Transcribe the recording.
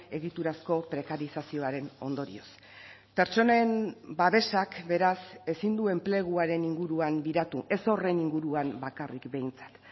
egiturazko prekarizazioaren ondorioz pertsonen babesak beraz ezin du enpleguaren inguruan biratu ez horren inguruan bakarrik behintzat